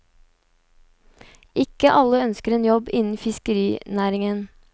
Ikke alle ønsker en jobb innen fiskerinæringen.